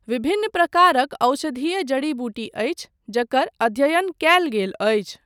विभिन्न प्रकारक औषधीय जड़ी बूटी अछि, जकर अध्ययन कयल गेल अछि।